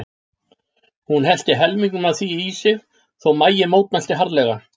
Hún hellti helmingnum af því í sig þótt maginn mótmælti harðlega.